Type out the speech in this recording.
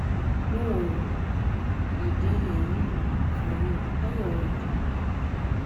no um worry i dey um here um for you how your work dey go?